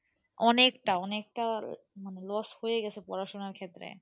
অনেকটা অনেকটা মানে loss হয়েই গেছে পড়াশোনার ক্ষেত্রে।